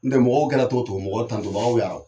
N tɛ mɔgɔw kɛ la cogo cogo mɔgɔ tanto bagaw ya